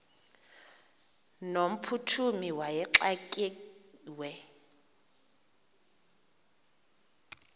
no mphuthumi wayexakiwe